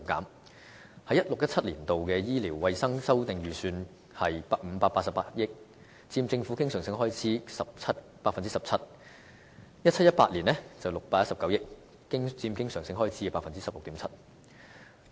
2016-2017 年度醫療衞生修訂預算是588億元，佔政府經常性開支 17%，2017-2018 年度是619億元，佔經常性開支 16.7%。